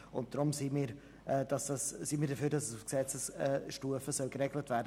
Deshalb sind wir dafür, dass das auf Gesetzesstufe geregelt wird.